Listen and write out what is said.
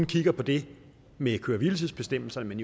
kigget på det med køre hvile tids bestemmelserne men